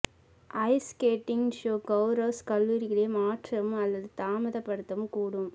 ice skating show கெளரெஸ் கல்லூரிகளை மாற்றவும் அல்லது தாமதப்படுத்தவும் கூடும்